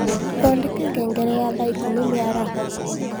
Thondeka ngengere ya thaa ĩkũmĩ mĩaraho